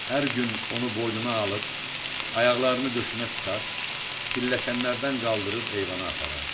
Hər gün onu boynuna alıb, ayaqlarını döşünə sıxar, pilləkənlərdən qaldırıb eyvana aparardı.